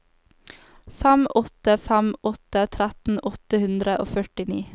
fem åtte fem åtte tretten åtte hundre og førtini